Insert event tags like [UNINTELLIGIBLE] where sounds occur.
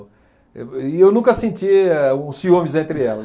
[UNINTELLIGIBLE] E eu nunca sentia o ciúmes entre elas.